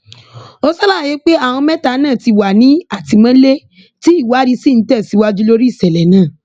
ó ṣàlàyé pé àwọn mẹta náà ti wà ní àtìmọlé tí ìwádìí sì ń tẹsíwájú lórí ìṣẹlẹ náà